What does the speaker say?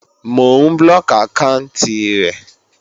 Mò ń blóòkì àkáànti rẹ̀